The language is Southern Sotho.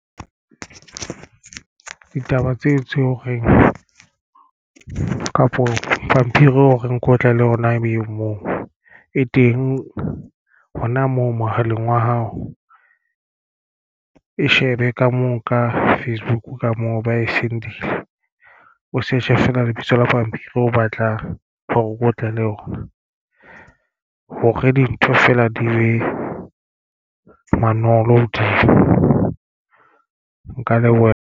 Ditaba tseo tse o reng kapo pampiri o reng ke otla le ona ebe moo e teng hona moo mohaleng wa hao e shebe ka moo ka Facebook ka moo ba e send-ile o search-e fela lebitso la pampiri o batlang hore o ko tlohelle honna hore dintho feela di mantolo, di ka leboha.